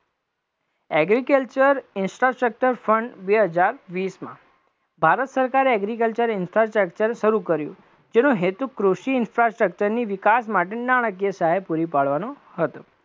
agriculture insta structure fund બે હજાર વીસમાં ભારત સરકારે agriculture insta structure શરુ કર્યું, જેનો હેતુ કૃષિ insta structure ની વિકાસ માટેની નાણાકીય સહાય પુરી પાડવાનો હતો,